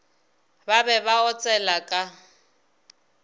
ba be ba otsela ka